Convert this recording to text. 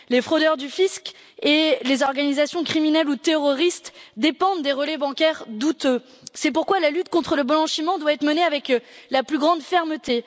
Les fraudeurs du Fisc et les organisations criminelles ou terroristes dépendent des relais bancaires douteux, c'est pourquoi la lutte contre le blanchiment doit être menée avec la plus grande fermeté.